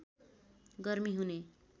गर्मी हुने